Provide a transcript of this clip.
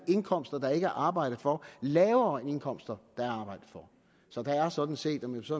indkomster der ikke er arbejdet for lavere end indkomster der er arbejdet for så der er sådan set om jeg så